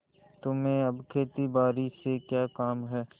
तुम्हें अब खेतीबारी से क्या काम है